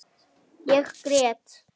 Ég grét.